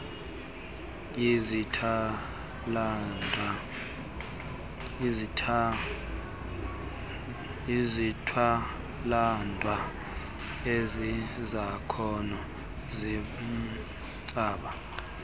izithwalandwe ezizakhono zimbaxa